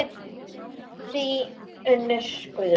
Þín Unnur Guðrún.